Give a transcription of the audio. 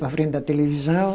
Para frente da televisão.